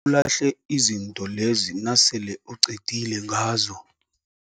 Ngibawa ulahle izinto lezi nasele uqedile ngazo.